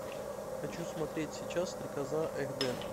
хочу смотреть сейчас стрекоза эх дэ